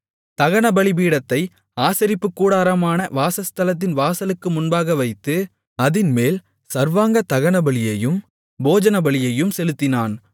தகனபலிபீடத்தை ஆசரிப்புக்கூடாரமான வாசஸ்தலத்தின் வாசலுக்கு முன்பாக வைத்து அதின்மேல் சர்வாங்க தகனபலியையும் போஜனபலியையும் செலுத்தினான்